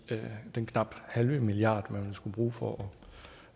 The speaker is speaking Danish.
til den knap halve milliard man ville skulle bruge for